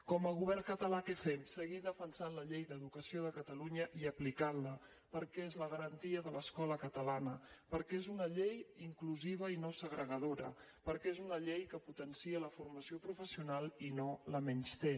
com a govern català què fem seguir defensant la llei d’educació de catalunya i aplicant la perquè és la garantia de l’escola catalana perquè és un llei inclusiva i no segregadora perquè és una llei que potencia la formació professional i no la menysté